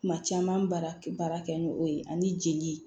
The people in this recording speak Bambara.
Kuma caman baara baara kɛ ni o ye ani jeli